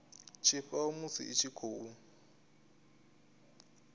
tshifhao musi i tshi khou